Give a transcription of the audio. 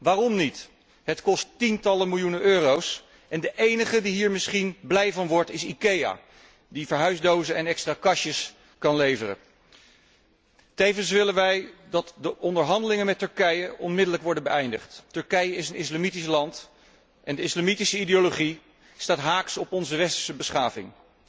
Waarom niet? Het kost tientallen miljoenen euro's en de enige die hier misschien blij van wordt, is Ikea, die verhuisdozen en extra kastjes kan leveren. Tevens willen wij dat de onderhandelingen met Turkije onmiddellijk worden beëindigd. Turkije is een islamitisch land en de islamitische ideologie staat haaks op onze westerse beschaving.